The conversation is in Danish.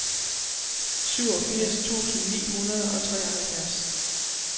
syvogfirs tusind ni hundrede og treoghalvfjerds